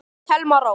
Þín Thelma Rós.